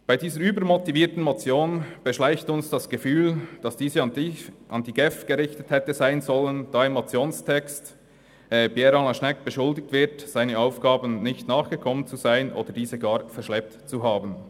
Bei dieser übermotivierten Motion beschleicht uns das Gefühl, dass diese an die GEF gerichtet hätte sein sollen, da im Motionstext Regierungsrat Pierre Alain Schnegg beschuldigt wird, seinen Aufgaben nicht nachgekommen zu sein oder diese gar verschleppt zu haben.